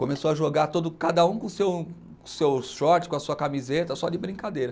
Começou a jogar todo, cada um com o seu, seu short, com a sua camiseta, só de brincadeira.